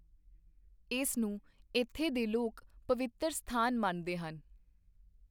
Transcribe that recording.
ਇਸਨੂੰ ਇੱਥੇ ਦੇ ਲੋਕ ਪਵਿਤਰ ਸਥਾਨ ਮੰਨਦੇ ਹਨ।